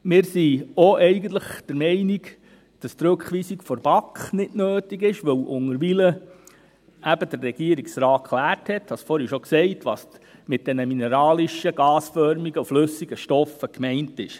Eigentlich sind wir auch der Meinung, dass die Rückweisung der BaK nicht nötig ist, weil der Regierungsrat unterdessen geklärt hat – ich habe es vorhin schon gesagt –, was mit den mineralischen gasförmigen und flüssigen Stoffen gemeint ist.